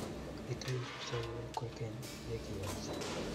Itei kipsoiwe kwekeny ya kiech